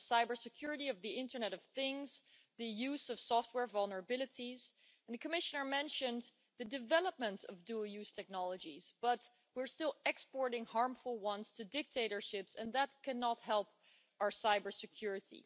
The cybersecurity of the internet of things, the use of software vulnerabilities, and the Commissioner mentioned the development of dual use technologies, but we are still exporting harmful ones to dictatorships and that cannot help our cybersecurity.